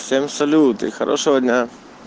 всем салют и хорошего дня